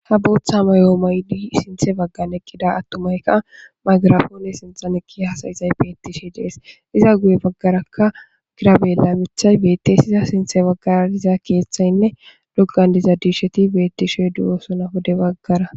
Ha Botha mayo mayida atumay margaponne sinthan eqidi hasayizays bettishe de'es. Iza guye bagaraka Tirabela mithay Bette's. Pizza sinthe bagara diza kethayne dishey betishe de'osona pude bagara.